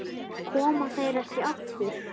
Koma þær ekki aftur?